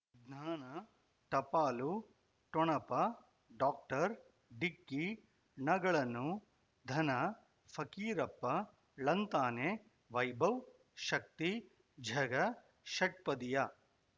ಜ್ಞಾನ ಟಪಾಲು ಠೊಣಪ ಡಾಕ್ಟರ್ ಢಿಕ್ಕಿ ಣಗಳನು ಧನ ಫಕೀರಪ್ಪ ಳಂತಾನೆ ವೈಭವ್ ಶಕ್ತಿ ಝಗಾ ಷಟ್ಪದಿಯ